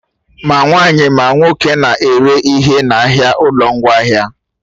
Ma nwaanyị, ma nwoke na-ere ihe n'ahịa ụlọ ngwaahịa